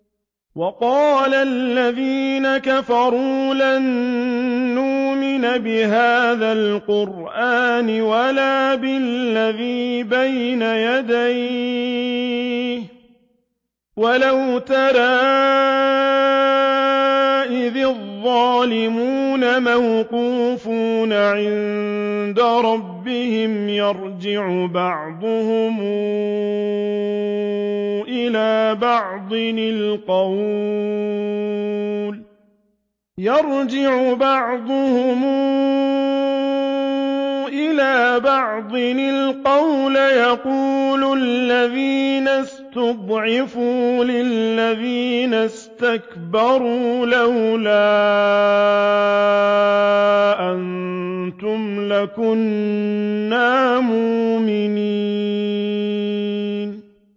وَقَالَ الَّذِينَ كَفَرُوا لَن نُّؤْمِنَ بِهَٰذَا الْقُرْآنِ وَلَا بِالَّذِي بَيْنَ يَدَيْهِ ۗ وَلَوْ تَرَىٰ إِذِ الظَّالِمُونَ مَوْقُوفُونَ عِندَ رَبِّهِمْ يَرْجِعُ بَعْضُهُمْ إِلَىٰ بَعْضٍ الْقَوْلَ يَقُولُ الَّذِينَ اسْتُضْعِفُوا لِلَّذِينَ اسْتَكْبَرُوا لَوْلَا أَنتُمْ لَكُنَّا مُؤْمِنِينَ